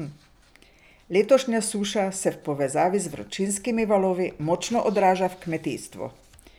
Letošnja suša se v povezavi z vročinskimi valovi močno odraža v kmetijstvu.